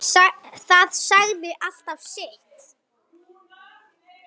Það sagði alltaf sitt.